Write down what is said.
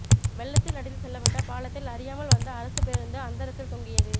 வெள்ளத்தில் அடித்து செல்லப்பட்ட பாலத்தில் அறியாமல் வந்த அரசு பேருந்து அந்தரத்தில் தொங்கியது